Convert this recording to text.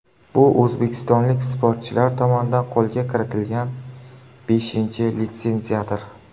Bu o‘zbekistonlik sportchilar tomonidan qo‘lga kiritilgan beshinchi litsenziyadir.